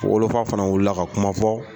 Wolofa fana wulila ka kuma fɔ